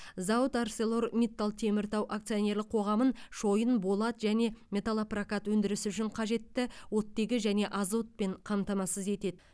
зауыт арселор миттал теміртау акционерлік қоғамын шойын болат және металлопрокат өндірісі үшін қажетті оттегі және азотпен қамтамасыз етеді